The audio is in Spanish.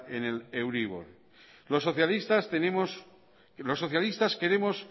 en el euribor los socialistas queremos